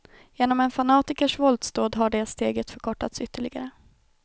Genom en fanatikers våldsdåd har det steget förkortats ytterligare.